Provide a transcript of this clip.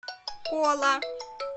кола